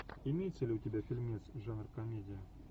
имеется ли у тебя фильмец жанр комедия